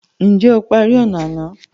Ǹjẹ́ o parí ọnà àná?